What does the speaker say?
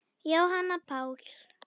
Jóhann Páll